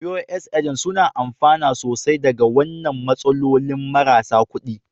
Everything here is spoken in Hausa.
Pos Agent, suna amfana sosai daga wannan matsalolin marasa kuɗi.